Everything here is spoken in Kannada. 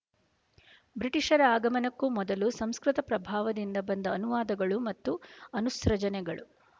ಬ್ರಿಟಿಷರ ಆಗಮನಕ್ಕೂ ಮೊದಲು ಸಂಸ್ಕೃತ ಪ್ರಭಾವದಿಂದ ಬಂದ ಅನುವಾದಗಳು ಮತ್ತು ಅನುಸೃಜನೆಗಳು